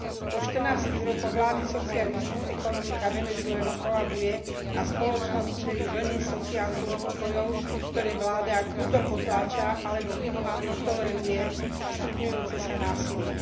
Po 14 rokoch vlády socializmu, ekonomika Venezuely kolabuje a spoločnosť čelí vlne sociálnych nepokojov, ktoré vláda kruto potláča alebo minimálne toleruje stupňujúce sa násilie.